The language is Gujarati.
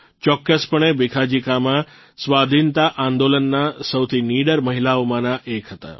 ચોક્કસપણે ભીખાજી કામા સ્વાધીનતા આંદોલનના સૌથી નીડર મહિલાઓમાંના એક હતા